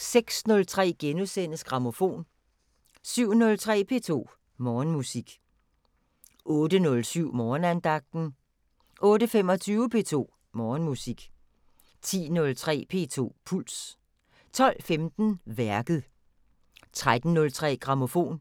06:03: Grammofon * 07:03: P2 Morgenmusik 08:07: Morgenandagten 08:25: P2 Morgenmusik 10:03: P2 Puls 12:15: Værket 13:03: Grammofon